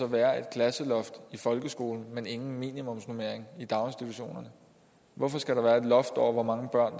være et klasseloft i folkeskolen men ingen minimumsnormering i daginstitutionerne hvorfor skal der være et loft over hvor mange børn